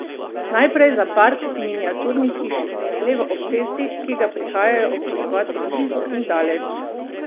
Najprej za park miniaturnih hišic levo ob cesti, ki ga prihajajo občudovat od blizu in daleč.